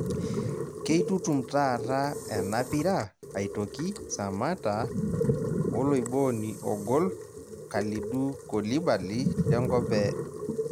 keitutum taata enapira aitoki Samatta oloibooni ogol Kalidou koulibaly lenkop e...